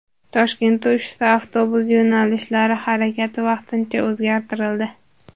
Toshkentda uchta avtobus yo‘nalishlari harakati vaqtincha o‘zgartirildi.